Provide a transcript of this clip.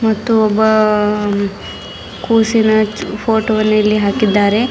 ಮತ್ತು ಒಬ್ಬ ಆ ಕುಸಿನ ಫೋಟೋ ವನ್ನು ಇಲ್ಲಿ ಹಾಕಿದ್ದಾರೆ.